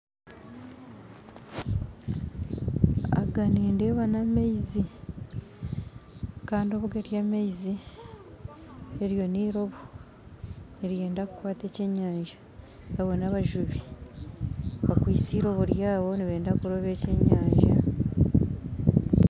Aga nindeeba n'amaizi kandi obu gari amaizi eryo niroobo niryenda kukwata eky'enyanja abo n'abajubi bakwise eiroobo rwabo nibeenda kurooba eky'enyanja